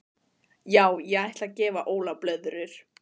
Já ég ætla að gefa Óla blöðrur.